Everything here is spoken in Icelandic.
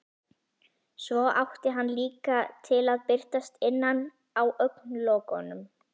Svo átti hann líka til að birtast innan á augnlokunum.